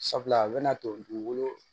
Sabula a bɛna to dugukolo